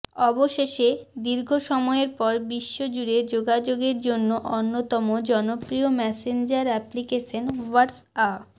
অবশেষে দীর্ঘ সময়ের পর বিশ্বজুড়ে যোগাযোগের জন্য অন্যতম জনপ্রিয় মেসেঞ্জার অ্যাপলিকেশন হোয়াটসঅ্যা